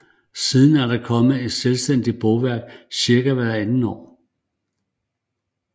Siden er der kommet et selvstændigt bogværk cirka hvert andet år